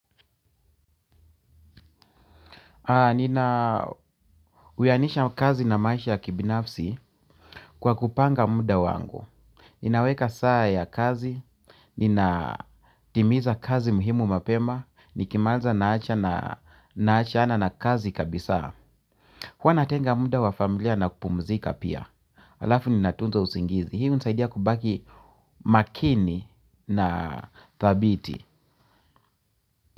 Nina wiyainisha kazi na maisha ya kibinafsi kwa kupanga muda wangu. Ninaweka saa ya kazi, ninatimiza kazi muhimu mapema, nikimaliza naachana na kazi kabisa huwa natenga muda wa familia na kupumzika pia. Halafu ninatunza usingizi, hii hunisaidia kubaki makini na thabiti.